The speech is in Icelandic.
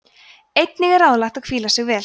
einnig er ráðlegt að hvíla sig vel